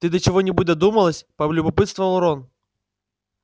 ты до чего-нибудь додумалась полюбопытствовал рон